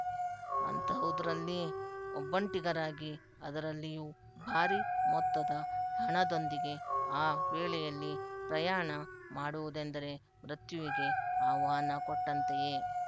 ಅಂತಹುದರಲ್ಲಿ ಒಬ್ಬಂಟಿಗರಾಗಿ ಅದರಲ್ಲಿಯೂ ಭಾರಿ ಮೊತ್ತದ ಹಣದೊಂದಿಗೆ ಆ ವೇಳೆಯಲ್ಲಿ ಪ್ರಯಾಣ ಮಾಡುವುದೆಂದರೆ ಮೃತ್ಯುವಿಗೆ ಆಹ್ವಾನಕೊಟ್ಟಂತೆಯೇ